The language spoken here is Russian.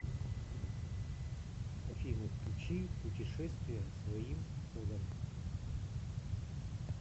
афина включи путешествия своим ходом